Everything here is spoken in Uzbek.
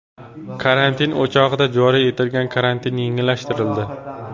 Karantin o‘chog‘ida joriy etilgan karantin yengillashtirildi .